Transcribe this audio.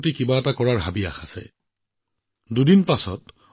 এই ভাল খবৰ কেৱল দেশবাসীৰ বাবেই নহয় আপোনালোকৰ বাবেও বিশেষ মোৰ ডেকা বন্ধুসকল